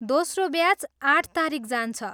दोस्रो ब्याच आठ तारिख जान्छ।